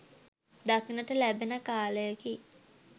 දක්නට ලැබෙන කාලයකි.